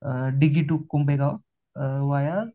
डिगी तो कुंभे गाव व्हाया